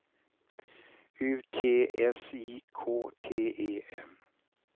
U T S I K T E N